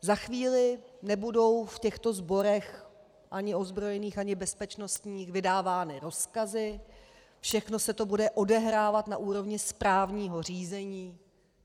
Za chvíli nebudou v těchto sborech, ani ozbrojených, ani bezpečnostních, vydávány rozkazy, všechno se to bude odehrávat na úrovni správního řízení.